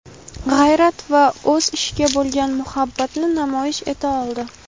g‘ayrat va o‘z ishiga bo‘lgan muhabbatni namoyish eta oldi.